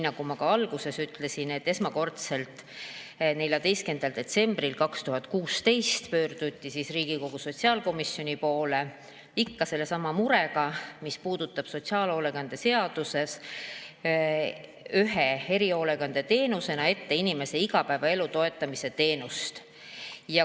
Nagu ma ka alguses ütlesin, esmakordselt 14. detsembril 2016 pöörduti Riigikogu sotsiaalkomisjoni poole ikka sellesama murega, mis puudutab sotsiaalhoolekande seaduses ühe erihoolekandeteenusena inimese igapäevaelu toetamise teenust.